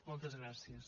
moltes gràcies